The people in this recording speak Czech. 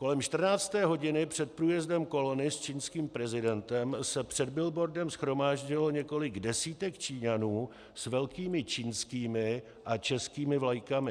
Kolem 14. hodiny před průjezdem kolony s čínským prezidentem se před billboardem shromáždilo několik desítek Číňanů s velkými čínskými a českými vlajkami.